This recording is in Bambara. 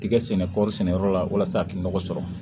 Tigɛ sɛnɛ kɔri sɛnɛyɔrɔ la walasa a ka nɔgɔ sɔrɔ